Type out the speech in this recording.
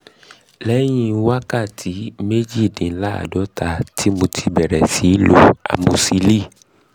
lẹ́yìn wákàtí méjìdínláàádọ́ta tí mo tí mo bẹ̀rẹ̀ sí í lo amosíìlì